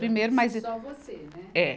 Primeiro, mas. Só você, né? É.